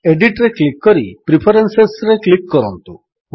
ଏଡିଟ୍ରେ click କରି ପ୍ରିଫରେନ୍ସେସ୍ରେ click କରନ୍ତୁ